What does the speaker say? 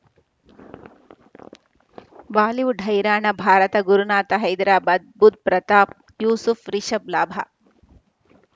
Bollywood ಹೈರಾಣ ಭಾರತ ಗುರುನಾಥ ಹೈದರಾಬಾದ್ ಬುಧ್ ಪ್ರತಾಪ್ ಯೂಸುಫ್ ರಿಷಬ್ ಲಾಭ